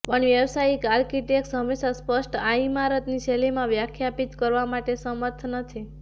પણ વ્યાવસાયિક આર્કિટેક્ટ્સ હંમેશા સ્પષ્ટ આ ઇમારત ની શૈલીમાં વ્યાખ્યાયિત કરવા માટે સમર્થ નથી